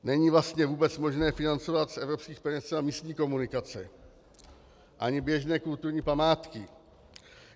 Není vlastně vůbec možné financovat z evropských peněz třeba místní komunikace ani běžné kulturní památky.